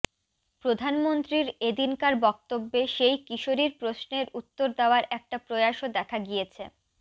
প্রধানমন্ত্রীর এদিনকার বক্তব্যে সেই কিশোরীর প্রশ্নের উত্তর দেওয়ার একটা প্রয়াসও দেখা গিয়েছে